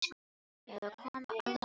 Það er að koma alvöru veður.